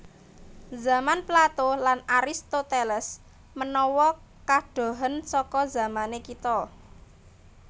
Zaman Plato lan Aristoteles menawa kadohen saka zamané kita